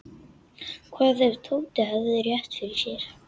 Hvað ef Tóti hefði rétt fyrir sér?